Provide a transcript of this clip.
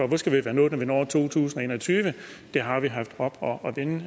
vi skal være nået når vi når to tusind og en og tyve det har vi haft oppe